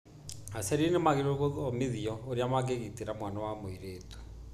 Aciari nĩ magĩrĩirũo gũthomithio ũrĩa mangĩgitĩra mwana wa mũirĩtu.